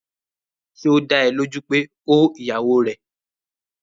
Ṣé ó dá ẹ lójú pé ó ìyàwó rẹ̀?